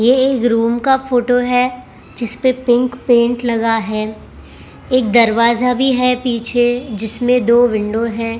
ये एक रूम का फोटो है जिसपे पिंक पेंट लगा है एक दरवाजा भी है पीछे जिसमें दो विंडो है।